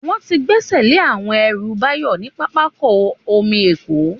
Wọ́n ti gbẹ́sẹ̀ lé àwọn ẹrù Báyọ̀ ní pápákọ̀ omi Èkó